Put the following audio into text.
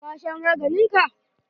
Ka sha maganin ka?